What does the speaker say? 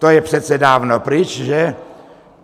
To je přece dávno pryč, že?